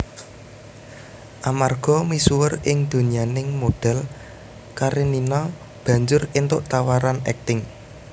Amarga misuwur ing donyaning modhèl Karenina banjur éntuk tawaran akting